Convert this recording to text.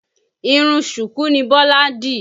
Irun ṣùkú ni Bọ́lá dì